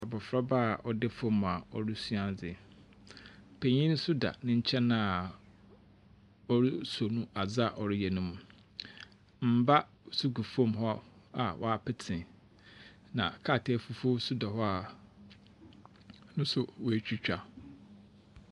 Abɔfraba a ɔda fom a oresua adze. Panyi nso da ne nkyɛn a ɔreso ne mu adeɛ a ɔreyɛ ne mu. Mmba so gu fom a wapete na krataa fufuoo bi nso da hɔ a ne nso wɔatwitwa.